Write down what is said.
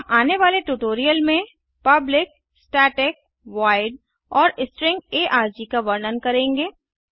हम आने वाले ट्यूटोरियल में पब्लिक स्टैटिक वॉइड और स्ट्रिंग एआरजी का वर्णन करेंगे